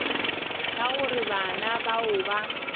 ka gore bana bao ba